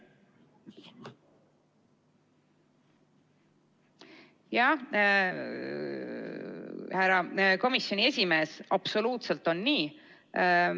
Jah, härra komisjoni esimees, absoluutselt on nii.